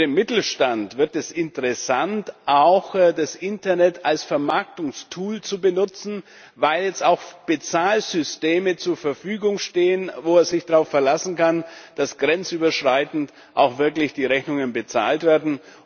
Für den Mittelstand wird es interessant, auch das Internet als Vermarktungstool zu benutzen, weil jetzt auch Bezahlsysteme zur Verfügung stehen, bei denen man sich drauf verlassen kann, dass grenzüberschreitend auch wirklich die Rechnungen bezahlt werden.